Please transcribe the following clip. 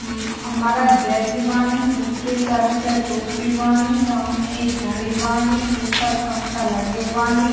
उम्म मर्द बेठे बानी उके सर पे टोपी बानी सामने एक घड़ी बानी ऊपर पंखा लगे बानी।